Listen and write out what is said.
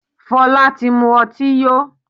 Fola tí mú ọtí yó.